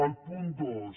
el punt dos